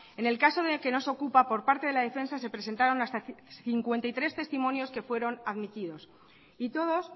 en el caso de que nos ocupa por parte de la defensa se presentaron hasta cincuenta y tres testimonios que fueron admitidos y todos